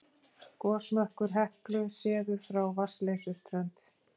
Gosmökkur Heklu séður frá Vatnsleysuströnd